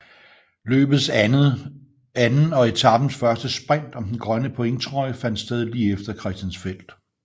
Løbets anden og etapens første sprint om den grønne pointtrøje fandt sted lige efter Christiansfeld